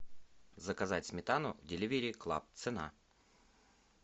заказать сметану деливери клаб цена